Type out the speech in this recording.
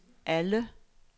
alle